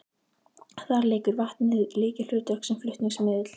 Þar leikur vatnið lykilhlutverk sem flutningsmiðill.